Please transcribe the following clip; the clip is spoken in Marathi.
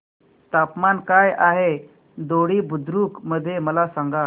तापमान काय आहे दोडी बुद्रुक मध्ये मला सांगा